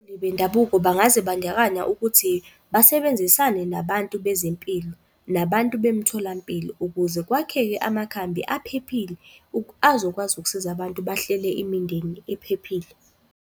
Bendabuko bangazibandakanya ukuthi basebenzisane nabantu bezempilo, nabantu bemitholampilo ukuze kwakheke amakhambi aphephile azokwazi ukusiza abantu bahlele imindeni ephephile.